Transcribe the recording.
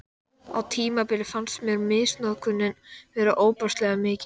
Á tímabili fannst mér misnotkunin vera ofboðslega mikil.